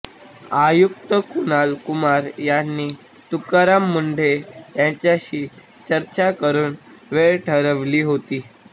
आयुक्त कुणाल कुमार यांनी तुकाराम मुंढे यांच्याशी चर्चा करुन वेळ ठरवली होती